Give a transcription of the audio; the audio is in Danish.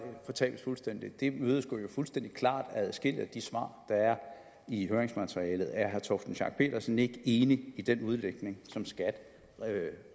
fortabes fuldstændig imødegås jo fuldstændig klart af adskillige af de svar der er i høringsmaterialet er herre torsten schack pedersen ikke enig i den udlægning som skat